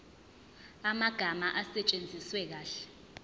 amagama asetshenziswe kahle